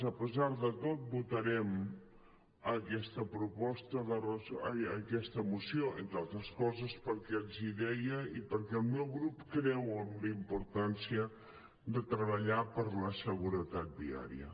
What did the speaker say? a pesar de tot votarem aquesta moció entre altres coses pel que els deia i perquè el meu grup creu en la importància de treballar per la seguretat viària